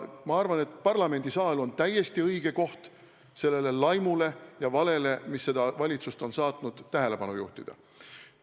Ma arvan, et parlamendisaal on täiesti õige koht sellele laimule ja valele, mis on seda valitsust saatnud, tähelepanu juhtida.